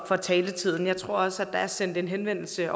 for taletiden jeg tror også at der er sendt en henvendelse